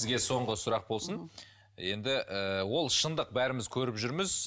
сізге соңғы сұрақ болсын енді ыыы ол шындық бәріміз көріп жүрміз